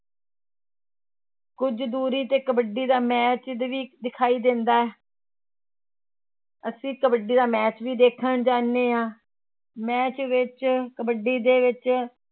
ਕੁੱਝ ਦੂਰੀ ਤੇ ਕਬੱਡੀ ਦਾ match ਵੀ ਦਿਖਾਈ ਦਿੰਦਾ ਹੈ ਅਸੀਂ ਕਬੱਡੀ ਦਾ match ਵੀ ਦੇਖਣ ਜਾਂਦੇ ਹਾਂ match ਵਿੱਚ ਕਬੱਡੀ ਦੇ ਵਿੱਚ